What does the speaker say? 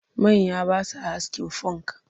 Manya ba sa askin funk